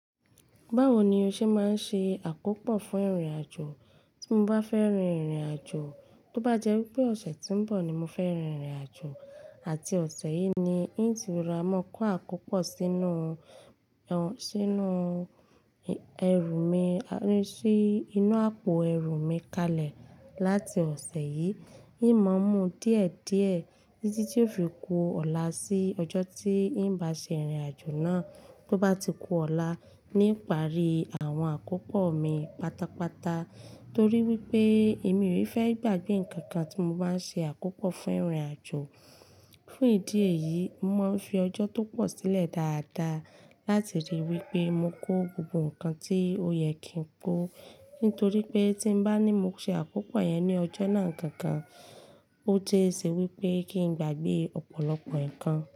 Báwo ni o ṣe máa ń ṣe àkópò fún ìrìnàjò tí mo bá fẹ́ rin ìrìnàjò? Tó bá jẹ́ wípé ọ̀sẹ̀ tí ń bọ̀ ni mo fẹ́ rin ìrìnàjò àti ọ̀sẹ̀ yìí ni, n ó ti ra máa kó àkópò sínú, ẹ, sínú ẹrù mi, ẹ, sí inú àpò ẹrù mi kalẹ̀ láti ọ̀sẹ̀ yìí. N ó máa ń mú díẹ̀ díẹ̀ títí tí ó fi kó ọ̀la sí ọjọ́ tí n bá ṣe ìrìnàjò náà. Tó bá ti ku ọ̀la, n ìparí àwọn àkópò mi pátápátá torí wípé èmi ò í fẹ́ gbàgbé ǹkan kan tí mo bá ń ṣe àkópò fún ìrìnàjò. Fún ìdí èyí, mo máa ń fi ọjọ́ tó pọ̀ sílẹ̀ dáadáa láti ríi wípé mo kó gbogbo ǹkan tí ó yẹ kí n kó nítorí pé tí bá ní mo ṣe àkópò ẹ̀ ní ọjọ́ náà kankan, ó jẹ́ èsì wípé kí n gbàgbé ọ̀pọ̀lọpọ̀ ǹkan.